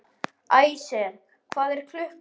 Æsir, hvað er klukkan?